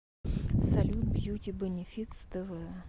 салют бьюти бэнифитс тэ вэ